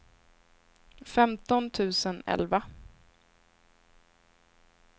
femton tusen elva